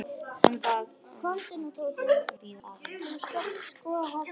Bað hana að bíða aðeins.